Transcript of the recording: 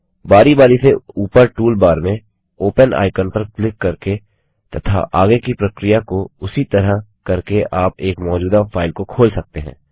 बारी बारी से ऊपर टूलबार में ओपन आइकन पर क्लिक करके तथा आगे की प्रक्रिया को उसी तरह करके आप एक मौजूदा फाइल को खोल सकते हैं